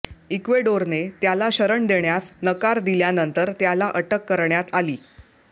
इक्वेडोरने त्याला शरण देण्यास नकार दिल्यानंतर त्याला अटक करण्यात आली